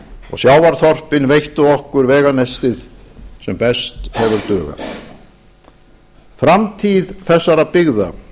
og sjávarþorpin veittu okkur veganestið sem best hefur dugað framtíð þessara byggða